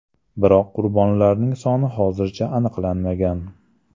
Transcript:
Biroq qurbonlarning soni hozircha aniqlanmagan.